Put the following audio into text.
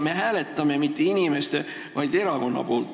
Me ei hääleta mitte inimeste, vaid erakonna poolt.